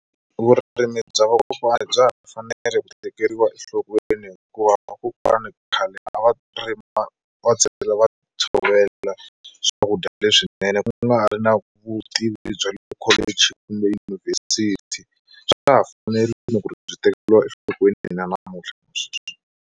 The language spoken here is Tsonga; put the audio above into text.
Vurimi bya vakokwani bya ha fanele ku tekeriwa enhlokweni hikuva vakokwana khale a va rima va va tshovela swakudya leswinene ku nga ri na vutivi bya le ekholeji kumbe yunivhesiti swa ha fanerile ku ri byi tekeriwa enhlokweni na namuntlha na sweswi.